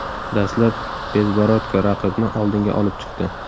Dastlab Bezborodko raqibni oldinga olib chiqdi.